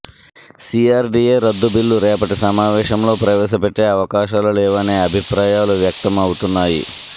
CRDA రద్దు bill రేపటి సమావేశంలో ప్రవేశపెట్టే అవకాశాలు లేవనే అభిప్రాయాలు వ్యక్తం అవుతున్నాయి